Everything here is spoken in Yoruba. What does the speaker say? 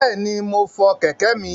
Bẹ̀ẹ̀ni, mo fọ kẹ̀kẹ́ mi.